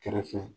Kɛrɛfɛ